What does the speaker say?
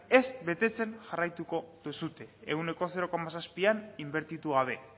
ez betetzen jarraitu duzue ehuneko zero koma zazpian inbertitu gabe